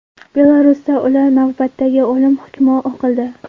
Belarusda ular navbatdagi o‘lim hukmi o‘qildi.